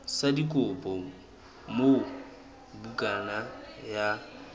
sa dikopo moo bukana ya